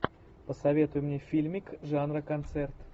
посоветуй мне фильмик жанра концерт